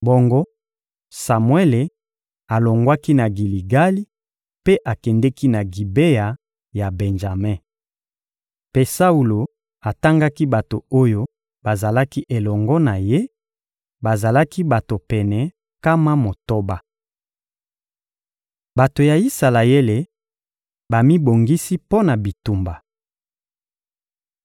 Bongo Samuele alongwaki na Giligali mpe akendeki na Gibea ya Benjame. Mpe Saulo atangaki bato oyo bazalaki elongo na ye: bazalaki bato pene nkama motoba. Bato ya Isalaele bamibongisi mpo na bitumba